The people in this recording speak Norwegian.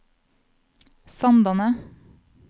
Sandane